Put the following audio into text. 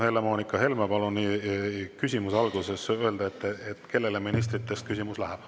Helle-Moonika Helme, palun küsimuse alguses öelda, kellele ministritest küsimus läheb.